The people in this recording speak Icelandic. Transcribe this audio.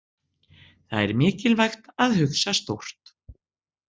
Það er mikilvægt að hugsa stórt.